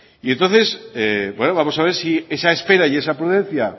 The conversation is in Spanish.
y entonces bueno vamos a ver si esa espera y esa prudencia